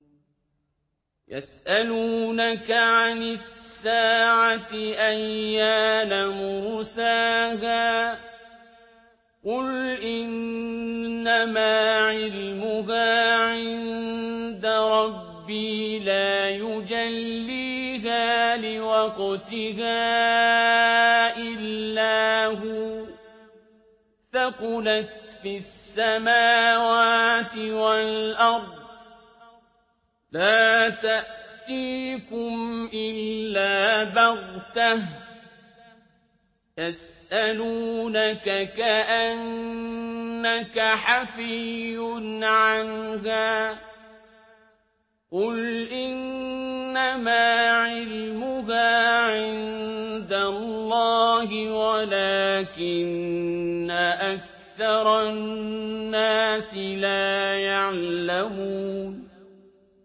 يَسْأَلُونَكَ عَنِ السَّاعَةِ أَيَّانَ مُرْسَاهَا ۖ قُلْ إِنَّمَا عِلْمُهَا عِندَ رَبِّي ۖ لَا يُجَلِّيهَا لِوَقْتِهَا إِلَّا هُوَ ۚ ثَقُلَتْ فِي السَّمَاوَاتِ وَالْأَرْضِ ۚ لَا تَأْتِيكُمْ إِلَّا بَغْتَةً ۗ يَسْأَلُونَكَ كَأَنَّكَ حَفِيٌّ عَنْهَا ۖ قُلْ إِنَّمَا عِلْمُهَا عِندَ اللَّهِ وَلَٰكِنَّ أَكْثَرَ النَّاسِ لَا يَعْلَمُونَ